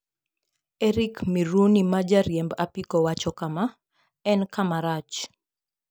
Eric Miruni ma jariemb apiko wacho kama: "En kama rach.